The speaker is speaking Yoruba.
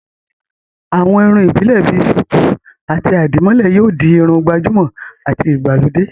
àwọn irun ìbílè bi sùkú àti àdìmólẹ̀ yóò di Irun gbàjúmọ̀ àti ìgbàlódé